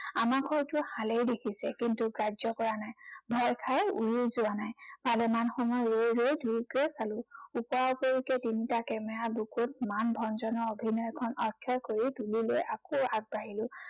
আমাক হয়টো হালেই দেখিছে, কিন্তু গ্ৰাহ্য কৰা নাই। ভয় খাই উৰিও যোৱা নাই। ভালেমান সময় ৰৈ ৰৈ দুয়োকে চালো। ওপৰা ওপৰিকৈ তিনটা camera ৰ বুকুত মান ভঞ্জনৰ অভিনয়খন কৰি তুলি লৈ আকৌ আগবাঢ়িলো।